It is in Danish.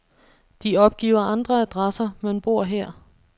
De opgiver andre adresser, men bor her.